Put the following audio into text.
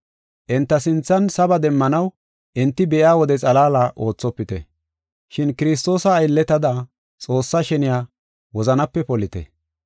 Enta sinthan saba demmanaw enti be7iya wode xalaala oothopite. Shin Kiristoosa aylletada Xoossaa sheniya wozanape polite.